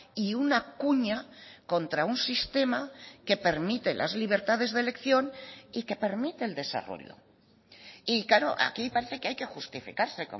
y una cuña contra un sistema que permite las libertades de elección y que permite el desarrollo y claro aquí parece que hay que justificarse